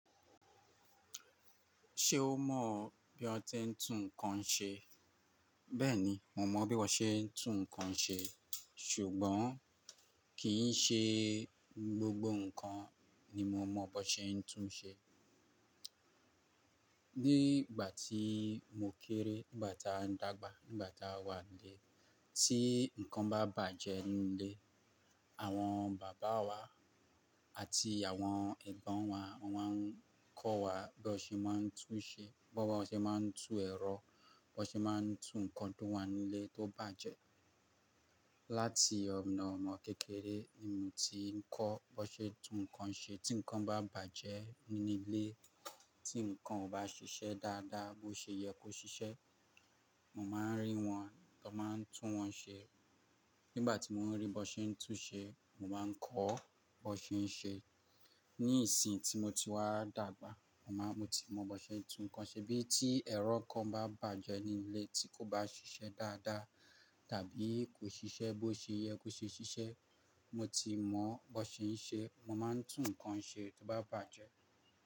Ṣé o mọ̀ bí wọ́n ti ń tún nǹkan ṣe? Bẹ́ẹ̀ni, mo mọ bí wọ́n se ń tún nǹkan ṣe, ṣùgbọ́n kì í ṣe gbogbo nǹkan ni mo mọ bó ṣe ń tún ṣe. Ní ìgbà tí mo kéré, nígbà tá ndàgbà, nígbà tá wà nílé, tí nǹkan bá bàjẹ́ nínú ilé, àwọn bàbá wa àti àwọn ẹ̀gbọ́n wa, wọ́n máa ń kọ́ wa bí wọ́n ṣe máa ń tún ṣe, bí wọ́n ṣe máa ń tún ẹ̀rọ, bí wọ́n ṣe máa ń tún nǹkan tó wà nílé tó bàjẹ́. Láti ọ̀nà ọmọ kékeré, èmi ti ń kọ́ bó ṣe ń tún nǹkan ṣe tí nǹkan bá bàjẹ́ nínú ilé, tí nǹkan ò bá ṣiṣẹ́ dáadáa, bó ṣe yẹ kó ṣiṣẹ́, mo máa ń rí wọn tan máa ń tún wọ́n ṣe. Nígbà tí mo ń rí bó ṣe ń tún ṣe, mo máa ń kọ́ bó ṣe ń ṣe. Ní ìsìn tí mo ti wá dàgbà, mo máa, mo ti mọ bó ṣe ń tún nǹkan ṣe bí tí ẹ̀rọ kan bá bàjẹ́ nínú ilé tí kò bá ṣiṣẹ́ dáadáa tàbí kò ṣiṣẹ́ bó ṣe yẹ kó ṣe ṣiṣẹ́, mo ti mọ bó ṣe ń ṣe. Mo máa ń tún nǹkan ṣe tó bá bàjẹ́